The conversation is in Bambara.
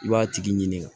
I b'a tigi ɲininka